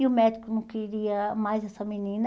E o médico não queria mais essa menina.